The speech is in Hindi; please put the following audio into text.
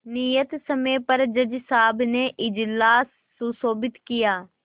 नियत समय पर जज साहब ने इजलास सुशोभित किया